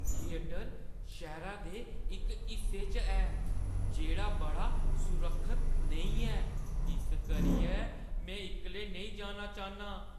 Theatre शैह्‌रै दे इक हिस्से च ऐ जेह्ड़ा बड़ा सुरक्खत नेईं ऐ इस करियै में इक्कले नेईं जाना चाह्न्नां।